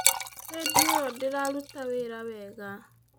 Rĩndiũ ĩyo ndĩraruta wĩra wega